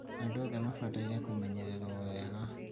andũ othe mabataire kũmenyererwo wega